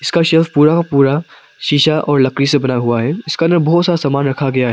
Shop पूरा का पूरा शीशा और लकड़ी से बना हुआ है इसका ने बहुत सा सामान रखा गया है।